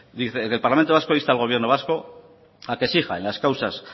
dice el parlamento vasco insta al gobierno vasco a que exija en las causas